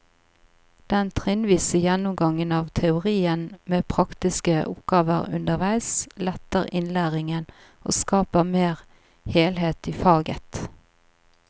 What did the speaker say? Den trinnvise gjennomgangen av teorien med praktiske oppgaver underveis letter innlæringen og skaper mer helhet i faget.